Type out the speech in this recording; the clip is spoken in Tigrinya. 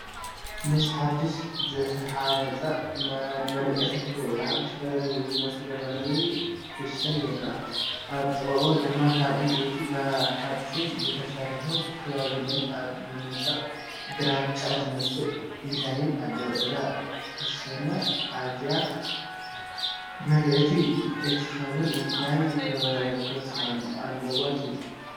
ምስ ሓዱሽ ዝተሃንጸ መደቀሲ ክፍሊ ወይ ሓድሽ ገዛ ዝመሳሰል ዘመናዊ ክሽነ ይርአ። ኣብ ጥቓኡ ድማ ካብ ዕንጨይትን ብሓጺንን ዝተሰርሑ ካቢነታትን ኣብ መንደቕ ግራጭ ዝመስል ዲዛይንን ኣለዉ። እዛ ክሽነ ኣዝያ ምልእቲ ክትከውን እንታይ ክውሰኽ ኣለዎ ትብሉ?